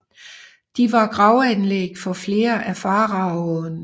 De var gravanlæg for flere af faraoene